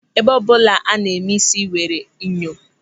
Ébé ọbụla a na-eme ísí nwere enyo.